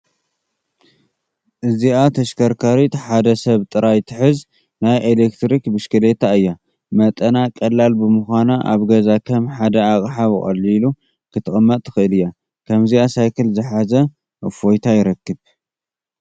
እዚአ ተሽከርካሪት ሓደ ሰብ ጥራይ ትሕዝ ናይ ኤለክትሪክ ብሽክሌታ እያ፡፡ መጠና ቀላል ብምዃና ኣብ ገዛ ከም ሓደ ኣቕሓ ብቐሊሉ ክትቅመጥ ትኽእል እያ፡፡ ከምዚኣ ሳይክል ዝሓዘ እፎይታ ይረክብ፡፡